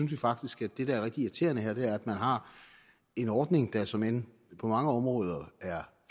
vi faktisk at det der er rigtig irriterende her er at man har en ordning der såmænd på mange områder er